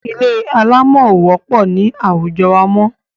Ilé alámọ̀ ò pọ̀ ní àwujọ wa mọ́.